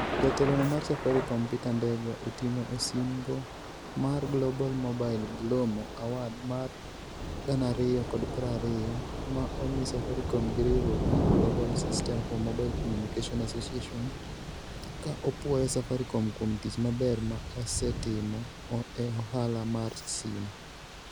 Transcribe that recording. Jatelono mar Safaricom, Peter Ndegwa oting'o osimbo mar Global Mobile (GLOMO) Award mar 2020, ma omi Safaricom gi riwruok mar Global Systems for Mobile Communications Associations (GSMA) ka opuoyo Safaricom kuom tich maber ma osetimo e ohala mar simu.